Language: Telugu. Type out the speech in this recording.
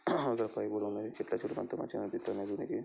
ఇక్కడ పైపులున్నాయి. చిక్క చితకంత మంచిగానిపితాన్నాయి .దీనికి --